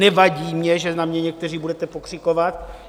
Nevadí mně, že na mě někteří budete pokřikovat.